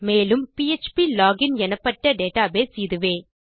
மேலும் PHP login எனப்பட்ட database இதுவே